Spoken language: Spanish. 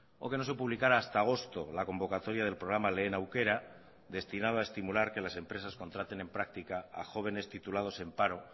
o que no se publicara hasta agosto la convocatoria del programa lehen aukera destinado a estimular que las empresas contraten en práctica a jóvenes titulados en paro